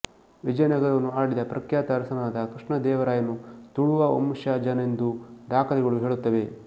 ವಿಜಯನಗರವನ್ನು ಆಳಿದ ಪ್ರಖ್ಯಾತ ಅರಸನಾದ ಕೃಷ್ಣ ದೇವರಾಯನು ತುಳುವ ವಂಶಜನೆಂದೂ ದಾಖಲೆಗಳು ಹೇಳುತ್ತವೆ